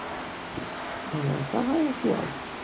হম পাহাড় একটু রাজি